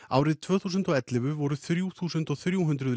árið tvö þúsund og ellefu voru þrjú þúsund þrjú hundruð